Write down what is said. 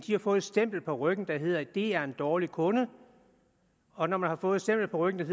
har fået et stempel på ryggen der hedder det er en dårlig kunde og når man har fået et stempel på ryggen der